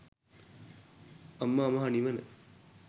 අමා මහ නිවන